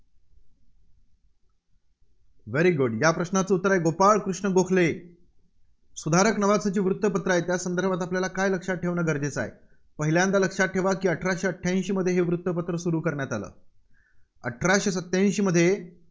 very good य़ा प्रश्नाचं उत्तर आहे, गोपाळकृष्ण गोखले. सुधारक नावाचे जे वृत्तपत्र आहे, त्यासंदर्भात आपल्याला काय लक्षात ठेवणं गरजेचं आहे? पहिल्यांदा लक्षात ठेवा अठराशे अठ्ठ्याऐंशीमध्ये हे वृत्तपत्र सुरू करण्यात आलं. अठराशे सत्त्याऐंशीमध्ये